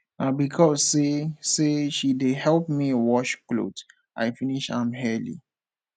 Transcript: na because sey sey she dey help me wash cloth i finish am early